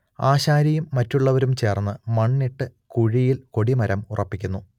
ആശാരിയും മറ്റുള്ളവരും ചേർന്ന് മണ്ണിട്ട് കുഴിയിൽ കൊടിമരം ഉറപ്പിക്കുന്നു